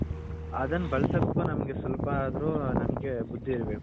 ಅದುನ್ನ ಬಲ್ಸಕೆ ನಮ್ಮಗೆ ಸ್ವಲ್ಪ ಅದ್ರು ನಮ್ಮಗೆ ಬುದ್ಧಿ ಇರ್ಬೇಕು